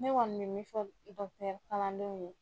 Ne kɔni mɛ min fɔ kalandenw ye.